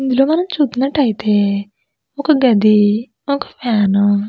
ఇందులో మనం చూసినట్టయితే ఒక గది ఒక ఫ్యాన్ --